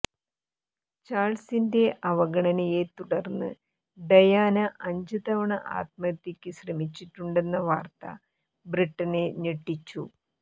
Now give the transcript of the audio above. ചാള്സിന്റെ അവഗണനയെത്തുടര്ന്ന് ഡയാന അഞ്ച് തവണ ആത്മഹത്യക്ക് ശ്രമിച്ചിട്ടുണ്ടെന്ന വാര്ത്ത ബ്രിട്ടനെ ഞെട്ടിച്ചു